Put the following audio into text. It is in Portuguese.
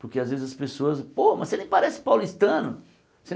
Porque às vezes as pessoas... Pô, mas você nem parece paulistano!